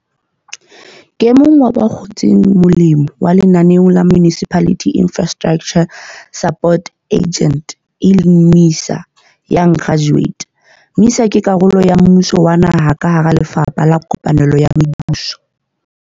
Ke emong wa ba kgotseng molemo lenaneong la Municipal Infrastructure Support Agent, MISA, Young Graduate. MISA ke karolo ya mmuso wa naha ka hara Lefapha la Kopanelo ya Mebuso.